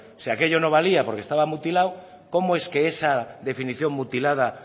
si aquello no valía porque estaba mutilado cómo es que esa definición mutilada